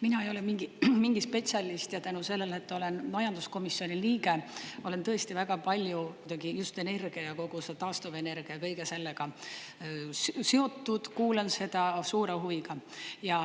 Mina ei ole mingi spetsialist ja tänu sellele, et olen majanduskomisjoni liige, ma olen tõesti väga palju muidugi just energia ja kogu selle taastuvenergia ja kõige sellega seotud, kuulan seda suure huviga.